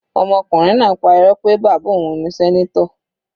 Ọmọkùnrin náà pá Irọ́ pé bàbá òun ni senator.